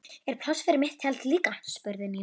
Er pláss fyrir mitt tjald líka? spurði Nína.